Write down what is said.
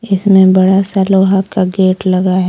इसमें बड़ा सा लोहा का गेट लगा है।